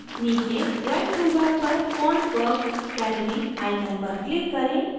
नीचे drawing toolbar पर fontwork gallery icon पर click करें